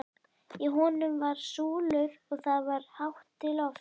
Í honum voru súlur og það var hátt til lofts.